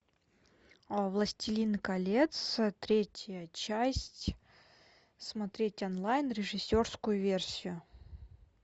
властелин колец третья часть смотреть онлайн режиссерскую версию